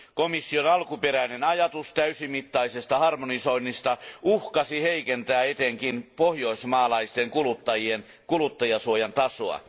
Komission alkuperäinen ajatus täysimittaisesta harmonisoinnista uhkasi heikentää etenkin pohjoismaalaisten kuluttajien kuluttajansuojan tasoa.